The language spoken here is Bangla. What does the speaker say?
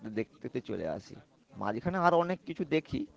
দেখতে দেখতেই চলে আসি। মাঝখানে আরো অনেক কিছু দেখি।